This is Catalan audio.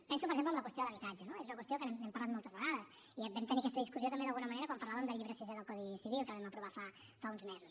penso per exemple en la qüestió de l’habitatge no és una qüestió que n’hem parlat moltes vegades i vam tenir aquesta discussió també d’alguna manera quan parlàvem del llibre sisè del codi civil que vam aprovar fa uns mesos